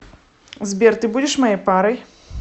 сбер ты будешь моей парой